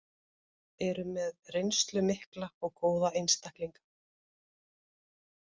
Eru með reynslu mikla og góða einstaklinga.